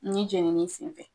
Ne jenini sen fɛ